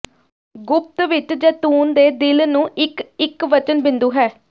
ਗੁਪਤ ਵਿੱਚ ਜ਼ੈਤੂਨ ਦੇ ਦਿਲ ਨੂੰ ਇੱਕ ਇਕਵਚਨ ਬਿੰਦੂ ਹੈ